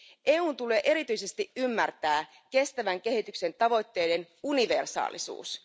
EUn tulee erityisesti ymmärtää kestävän kehityksen tavoitteiden universaalisuus.